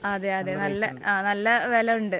അതെ അതെ. നല്ല, നല്ല വിലയുണ്ട്.